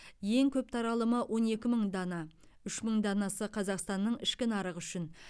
ең көп таралымы он екі мың дана үш мың данасы қазақстанның ішкі нарығы үшін